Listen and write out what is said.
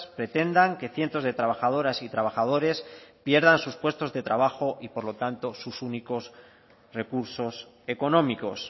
pretendan que cientos de trabajadoras y trabajadores pierdan sus puestos de trabajo y por lo tanto sus únicos recursos económicos